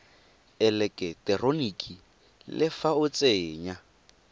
eleketeroniki le fa o tsenya